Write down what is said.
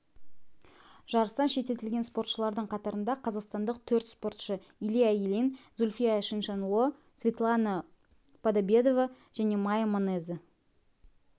жарыстан шеттетілген спортшылардың қатарында қазақстандық төрт спортшы илья ильин зүлфия чиншанло светлана подобедова және майя манеза